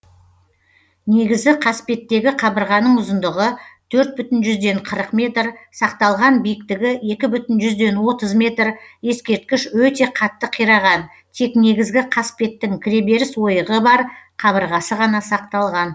негізі қасбеттегі қабырғаның ұзындығы төрт бүтін жүзден қырық метр сақталған биіктігі екі бүтін жүзден отыз метр ескерткіш өте қатты қираған тек негізгі қасбеттің кіреберіс ойығы бар қабырғасы ғана сақталған